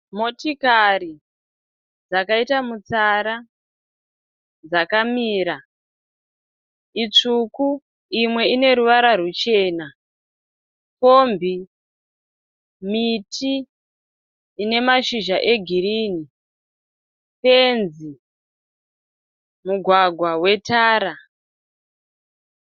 Motikari dzakaita mutsara dzakamira itsvuku imwe ine ruvara ruchena. Kombi, miti ine mashizha egirini fenzi. Mugwagwa wetara.